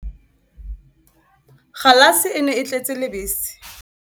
Kgalase e ne e tletse lebese.